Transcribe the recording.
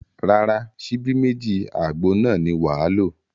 Rárá, ṣíbí méjì àgbo náà ni wàá lò